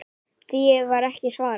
Því var ekki svarað.